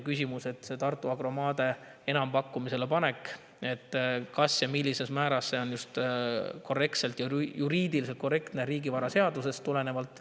Küsimus on, kas või millises määras on Tartu Agro maade enampakkumisele panek juriidiliselt korrektne riigivaraseadusest tulenevalt.